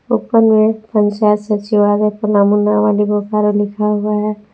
ऊपर में पंचायत सचिवालय पलामू नावाडीह बोकारो लिखा हुआ है।